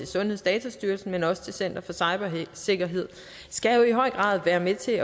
sundhedsdatastyrelsen men også til center for cybersikkerhed skal jo i høj grad være med til